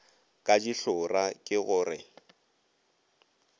ka dihlora ke go re